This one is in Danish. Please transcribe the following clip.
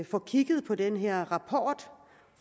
få kigget på den her rapport